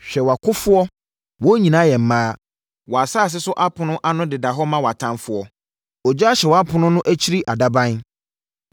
Hwɛ wʼakofoɔ wɔn nyinaa yɛ mmaa! Wʼasase so apono ano deda hɔ ma wʼatamfoɔ; ogya ahye wʼapono no akyiri adaban.